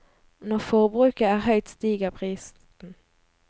Når forbruket er høyt, stiger prisen.